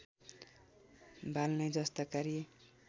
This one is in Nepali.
बाल्ने जस्ता कार्य